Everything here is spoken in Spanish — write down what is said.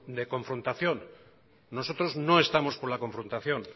de confrontación nosotros no estamos por la confrontación